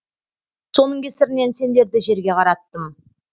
соның кесірінен сендерді жерге қараттым